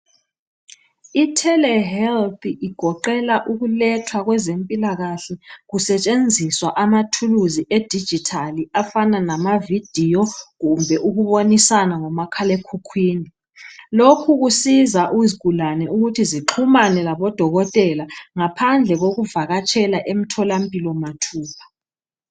Itelehealth igoqela ukulethwa kwezempilakahle kusetshenziswa amathuluzi edijithali afana lamavidiyo kumbe ukubonisana ngomakhalekhukhwini. Lokhu kusiza izigulane ukuthi zixhumane labodokotela ngaphandle kokuvakatshela emtholampilo mathupha.